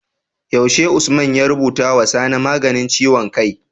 Yaushe Usman ya rubutu wa sani maganin ciwon kai?